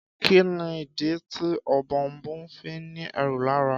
Kí nìdí tí Ọ̀bọ̀ọ̀nbọọ̀n fí ni ẹ́rù lára.